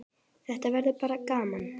Þetta verður bara gaman.